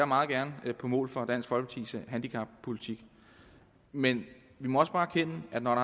meget gerne på mål for dansk folkepartis handicappolitik men vi må også bare erkende at når